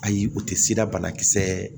Ayi u tɛ sida banakisɛ